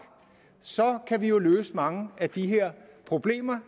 så kan vi jo løse mange af de her problemer